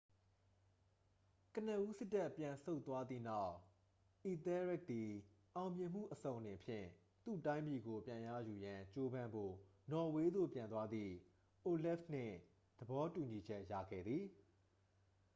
ကနဦး စစ်တပ် ပြန်ဆုတ်သွားသည့်နောက် အီသဲရက်သည် အောင်မြင်မှုအစုံအလင်ဖြင့် သူ့တိုင်းပြည်ကို ပြန်ရယူရန် ကြိုးပမ်းဖို့ နော်ဝေးသို့ ပြန်သွားသည့် အိုလဖ်နှင့် သဘောတူညီချက် ရခဲ့သည်